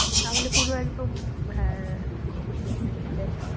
তাহলে পুরো একদম হ্যাঁ সেটাই।